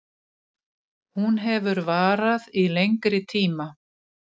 Hún hefur varað í lengri tíma